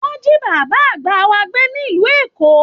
Wọn ji bàbá àgbà wa gbé nílu Èkó.